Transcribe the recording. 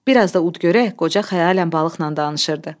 Bir az da ud görək, qoca xəyalən balıqla danışırdı.